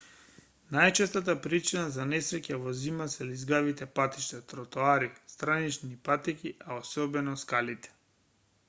најчестата причина за несреќи во зима се лизгавите патишта тротоари странични патеки а осебно скалите